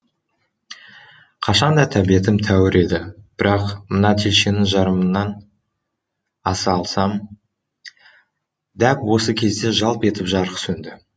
қашан да тәбетім тәуір еді бірақ мына телшенің жарымынан аса алсам дәп осы кезде жалп етіп жарық сөнді